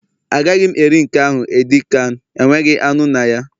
Agaghị m eri nke ahụ edi kan, enweghị anụ na ya